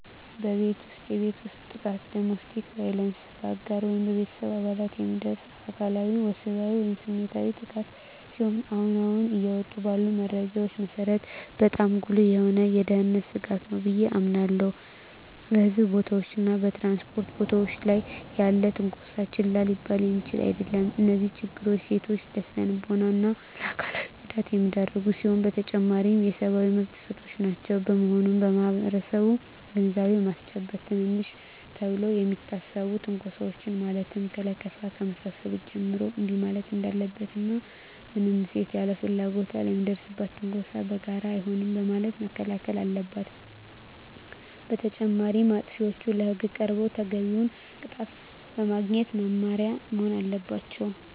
በቤት ውስጥ የቤት ውስጥ ጥቃት (Domestic Violence): በአጋር ወይም በቤተሰብ አባላት የሚደርስ አካላዊ፣ ወሲባዊ ወይም ስሜታዊ ጥቃት ሲሆን አሁን አሁን እየወጡ ባሉ መረጃዎች መሰረት በጣም ጉልህ የሆነ የደህንነት ስጋት ነው ብየ አምናለሁ። በሕዝብ ቦታዎች እና በ ትራንስፖርት ቦታወች ላይ ያለም ትነኮሳ ችላ ሊባል የሚችል አደለም። እነዚህ ችግሮች ሴቶችን ለስነልቦና እና አካላዊ ጉዳት የሚዳርጉ ሲሆኑ በተጨማሪም የሰብአዊ መብት ጥሰቶችም ናቸው። በመሆኑም ማህበረሰቡን ግንዛቤ በማስጨበጥ ትንንሽ ተብለው ከሚታሰቡ ትንኮሳወች ማለትም ከለከፋ ከመሳሰሉት ጀምሮ እንቢ ማለት እንዳለበት እና ማንም ሴት ያለ ፍላጎቷ ለሚደርስባት ትንኮሳ በጋራ አይሆንም በማለት መከላከል አለበት። በተጨማሪም አጥፊዎች ለህግ ቀርበው ተገቢውን ቅጣት በማግኘት መማሪያ መሆን አለባቸው።